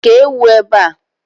Kéé ewu ebe a!